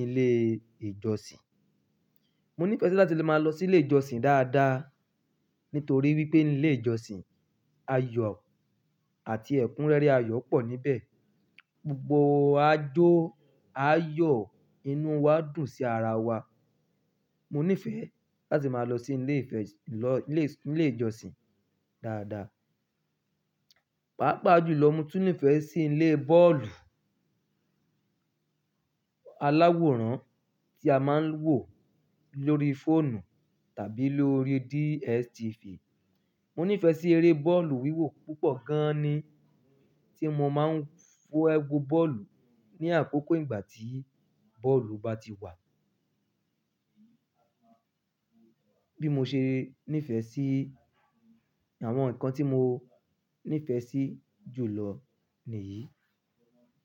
ilé ìjọsìn. Mo nífẹ̀ẹ́ láti lè máa lọ sí ilé ìjọsìn dáadáa, nítorí wípé ní ilé ìjọsìn, ayọ̀ àti ẹ̀kúnrẹ́rẹ́ ayọ̀ pọ̀ níbẹ̀. Gbogbo ajó ayọ̀ inú wa dùn sí ara wa. Mo nífẹ̀ẹ́ láti máa lọ sí ilé ìfẹ̀-- lọ ilé, ilé ìjọsìn dáadáa. Pàápàá jùlọ, mo tún nífẹ̀ẹ́ sí ilé bọ́ọ̀lù aláwòrán tí a máa ń wò lórí fóònù tàbí lórí DSTV. Mo nífẹ̀ẹ́ sí eré bọ́ọ̀lù wíwò púpọ̀ gan-an ni, tí mo máa ń fe wo bọ́ọ̀lù ní àkókò ìgbà tí bọ́ọ̀lù bá ti wà. Bí mo ṣe nífẹ̀ẹ́ sí àwọn nǹkan tí mo nífẹ̀ẹ́ sí jùlọ nìyí.